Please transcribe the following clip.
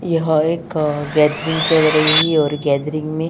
यह एक गैदरीन चल रही है और गैदरीन में--